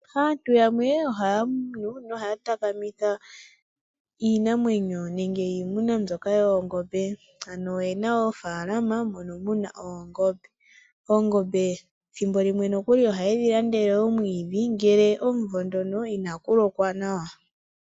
Aantu yamwe ohaya vulu nohaya takamitha iinamwenyo nenge iimuna mbyoka yoongombe. Ano oyena oofaalama mono muna oongombe. Oongombe thimbo limwe nokuli ohaye dhi landele omwiidhi ngele omumvo ndono inaku lokwa nawa.